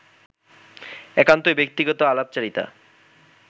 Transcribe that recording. একান্তই ব্যক্তিগত আলাপচারিতা